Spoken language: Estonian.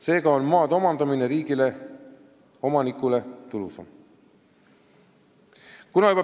Seega on maa omandamine riigi poolt omanikule tulusam.